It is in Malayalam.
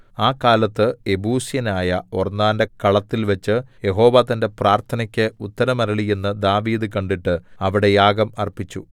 ആ കാലത്ത് യെബൂസ്യനായ ഒർന്നാന്റെ കളത്തിൽവെച്ചു യഹോവ തന്റെ പ്രാർത്ഥനയ്ക്ക് ഉത്തരമരുളി എന്നു ദാവീദ് കണ്ടിട്ട് അവിടെ യാഗം അർപ്പിച്ചു